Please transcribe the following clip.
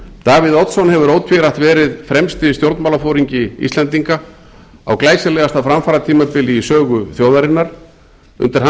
davíð oddsson hefur ótvírætt verið fremsti stjórnmálaforingi íslendinga á glæsilegasta framfaratímabili í sögu þjóðarinnar undir hans